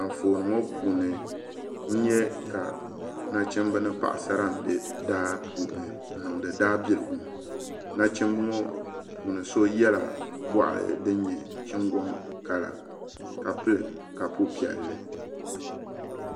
Anfooni ŋo puuni n nyɛ ka nachimbi ni paɣasara n bɛ daa puuni n niŋdi daa buligu nachimbi ŋo puuni so yɛla goɣa din nyɛ chingoŋ kala ka pili kapu piɛlli